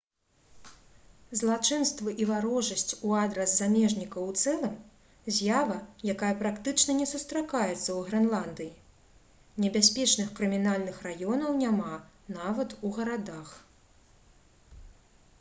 злачынствы і варожасць у адрас замежнікаў у цэлым з'ява якая практычна не сустракаецца ў грэнландыі небяспечных крымінальных раёнаў няма нават у гарадах